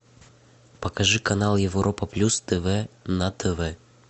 покажи канал европа плюс тв на тв